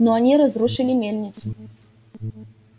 но они разрушили мельницу